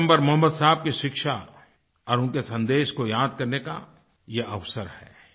पैगम्बर मोहम्मद साहब की शिक्षा और उनके सन्देश को याद करने का यह अवसर है